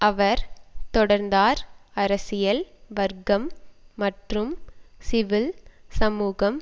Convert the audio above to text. அவர் தொடர்ந்தார் அரசியல் வர்க்கம் மற்றும் சிவில் சமூகம்